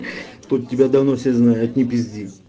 тут тебя давно все знает не пизди